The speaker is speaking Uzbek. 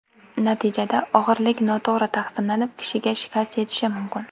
Natijada og‘irlik noto‘g‘ri taqsimlanib, kishiga shikast yetishi mumkin.